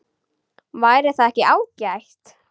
Væri það ekki ágætt?